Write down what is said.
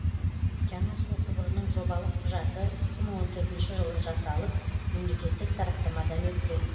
жаңа су құбырының жобалық құжаты екі мың он төртінші жылы жасалып мемлекеттік сараптамадан өткен